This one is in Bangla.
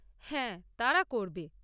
হ্যাঁ, তারা করবে।